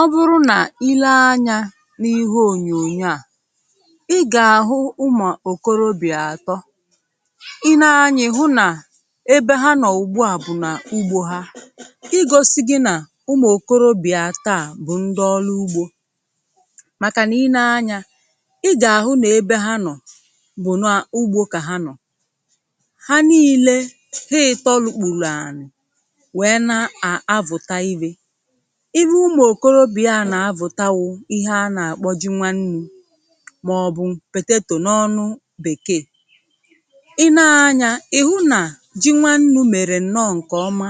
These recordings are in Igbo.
Ọ bụrụ nà i lee anyȧ n’ihe ònyònyo à, i gà-àhụ ụmụ̀ òkorobì atọ. Ị nee anyȧ ịhụ nà ebe ha nọ̀ ùgbu à bụ̀ nà ugbȯ ha, igosi gi nà ụmụ̀ òkorobì atọà bụ̀ ndị ọlụ ugbȯ, màkà nà i nee anyȧ i gà-àhụ nà ebe ha nọ̀ bụ̀ nà ugbȯ kà ha nọ̀, ha niile, ha ịtọ lukpùrù ànị̀ wèe na-à avụ̀ta ihė, ihe ụmụ̀ okorobì a nà-avụ̀ta wụ ihe a nà-àkpọ ji nwannu̇, màọ̀bụ̀ potatò n’ọnụ bèkee. I nee anyȧ ị̀ hụ nà ji nwannu̇ mèrè ǹnọ ǹkèọma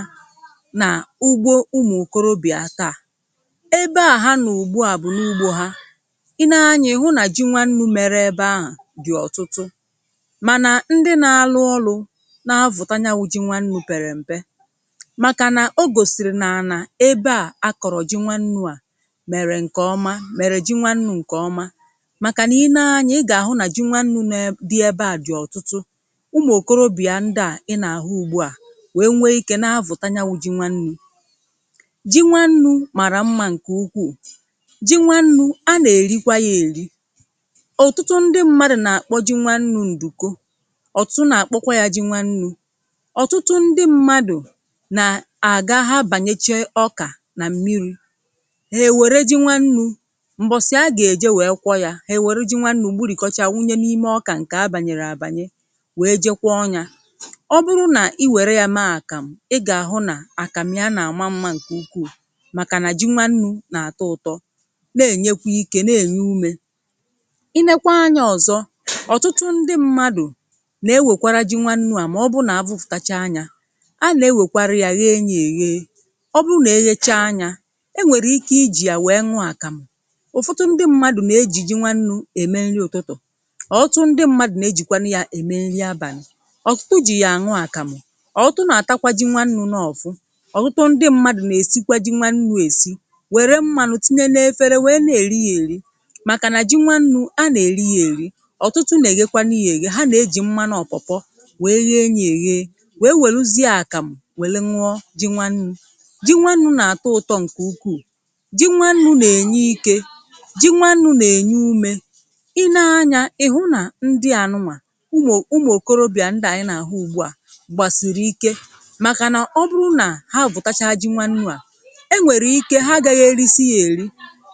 nà ugbo ụmụ̀ okorobì nke à, ebe à ha nọ ùgbu à bụ̀ n’ugbȯ hȧ, i nee anyȧ ị̀ hụ nà ji nwannu̇ mere ebe ahụ̀ dị̀ ọ̀tụtụ mànà ndị nȧ-alụ̇ ọlụ̇ nà-avụ̀ta nyanwụ ji nwannu̇ pèrè m̀pe, màkà nà o gòsìrì nà ana aebea a kọrọ ji nwannu a mèrè ǹkè ọma, mèrè ji nwannu̇ ǹkè ọma, màkà nà i nee anyȧ ị gà-àhụ nà ji nwannu̇ nè dị ebe à dị̀ ọ̀tụtụ, ụmụ̀ òkorobịa ndịà ị nà-àhụ ugbu à nwèe nwe ikė na-avụ̀ta ya wụ̇ ji nwannu̇.Ji nwannu̇ màrà mmȧ ǹkè ukwuù, ji nwannu̇ a nà-èrikwa yȧ èri ọ̀tụtụ ndị mmadụ̀ nà-àkpọ ji nwannu̇ ǹdùko, ọ̀tụtụ na-àkpọkwa yȧ ji nwannu̇. Ọtụtụ ndị mmadụ̀ na-aga ha banyeche ọka na mmiri, hà èwère ji nwannu̇, m̀bọ̀sị̀ a gà-èje wèe kwọ yȧ hà èwère ji nwannu̇ gburìkọcha wunye n’ime ọkà ǹkè a bànyèrè àbànye wèe jee kwọọ yȧ. Ọ bụrụ nà i wère yȧ mee àkàmụ., ị gà-àhụ nà àkàmụ ya nà-àma mmȧ ǹkè ukwuù, màkà nà ji nwannu̇ nà-àtọ ụ̀tọ, na-ènyekwa ike, na-ènye umė. Ị neekwa anyȧ ọ̀zọ, ọ̀tụtụ ndị ṁmȧdụ̀ nà-ewèkwara ji nwannu̇ à ,mà ọ bụ nà abụpụ̀tachaa yȧ a nà-ewèkwara yȧ nye ya enye, ọbụrụ nà e nyechaa yȧ e nwèrè ike ijì yà nwèe ṅụ àkàmụ̀. Ụfọdụ ndị mmadụ̀ nà-ejì ji nwannu̇ ème nri ụ̀tụtụ, ọ̀tụtụ ndị mmadụ̀ nà ejìkwanụ yȧ ème nri abȧnị̇. Ọtụtụ jì yà àṅụ àkàmụ̀, ọ̀tụtụ nà-àtakwa ji nwannu̇ n’ọ̀vụ, ọ̀tụtụ ndị mmadụ̀ nà-èsikwa ji nwannu̇ èsi wère mmanụ̀ tinye n’efere wèe na-èri yȧ èri, màkà nà ji nwannu̇, anà-èri yȧ èri. Ọtụtụ nà-èghekwanụ yȧ èghe, ha nà-ejì mmanụ ọ̀pọ̀pọ wèe ghee yȧ èghe, wèe wèluzìȧ àkàmụ̀ wèe ñụọ ji nwannu̇. Ji nwannu̇ na atọ ụtọ nke ukwuu, ji nwannu nà-ènye ikė, ji nwannu̇ nà-ènye umė. Ị nee anyȧ ị̀ hụ nà ndị ànụnwà ụmụ̀ ụmụ̀ okorobị̀à ndị à ị nà-àhụ ugbu à, gbàsìrì ike màkà nà ọ bụrụ nà ha Vùtachaa ji nwannu̇ à, e nwèrè ike ha agaghị eri̇si̇ ya èri,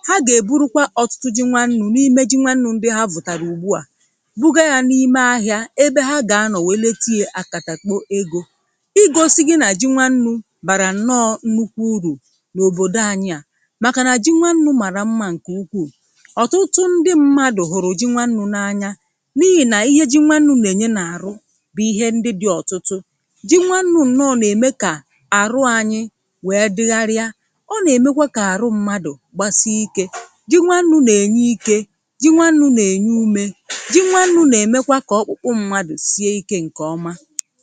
ha gà-èburukwa ọ̀tụtụ ji nwannu̇ n’ime ji nwannu̇ ndị ha vùtàrà ugbu à, bụga yȧ n’ime ahịȧ ebe ha gà-anọ̀ wèe letie akàtàmkpo egȯ, ịgọ̇sị̇ gị nà ji nwannu̇ bàrà nọọ nnukwu urù n’obodo anyi a màkà nà ji nwannu̇ màrà mmȧ ǹkè ukwuù. Ọtụtụ ndị mmadụ̀ hụ̀rụ̀ ji nwannu̇ n'anya n’ihì nà ihe ji nwannu̇ nà-ènye n’àrụ bụ̀ ihe ndị dị̇ ọ̀tụtụ. Ji nwannu̇ nnọ nà-ème kà àrụ anyị wee dịgharịa, ọ nà-èmekwa kà àrụ mmadụ̀ gbasịa ikė ji nwannu̇ nà-ènye ikė, ji nwannu̇ nà-ènye umė, ji nwannu̇ nà-èmekwa kà ọkpụkpụ mmadụ̀ sie ikė ǹkè ọma.